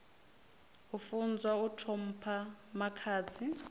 a funzwa u ṱhompha makhadzi